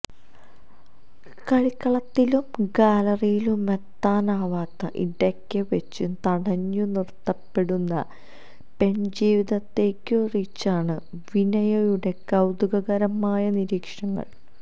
കളിക്കളത്തിലും ഗാലറിയിലുമെത്താനാവാതെ ഇടയ്ക്ക് വെച്ച് തടഞ്ഞു നിർത്തപ്പെടുന്ന പെൺജീവിതത്തെക്കുറിച്ചാണ് വിനയയുടെ കൌതുകകരമായ നിരീക്ഷണങ്ങൾ